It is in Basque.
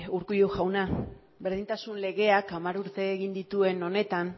urkullu jauna berdintasun legeak hamar urte egin dituen honetan